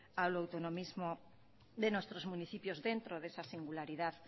al autonomismo de nuestros municipios dentro de esa singularidad